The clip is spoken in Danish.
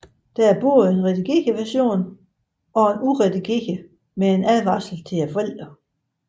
Der er både en redigeret version og en uredigeret med en advarsel til forældre